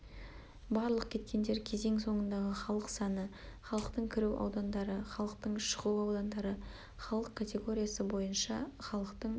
барлық кеткендер кезең соңындағы халық саны халықтың кіру аудандары халықтың шығу аудандары халық категориясы бойынша халықтың